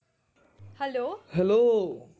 hello hello